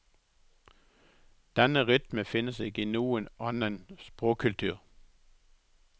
Denne rytme finnes ikke i noen annen språkkultur.